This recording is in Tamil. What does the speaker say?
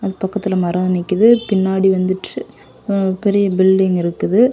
அது பக்கத்துல மரம் நிக்கிது. பின்னாடி வந்துட்டு உ பெரிய பில்டிங் இருக்குது.